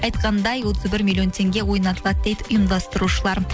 айтқандай отыз бір миллион теңге ойнатылады дейді ұйымдастырушылар